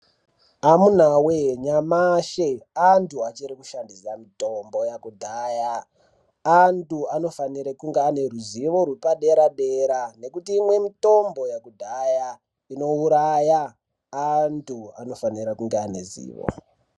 Amunawee nyamashi antu achiri kushandisa mitombo yakudhaya, antu anofanire kunge ane ruzivo rwepadera-dera nekuti imwe mitombo yakudhaya inouraya. Antu anofanira kunge ane ruzivo.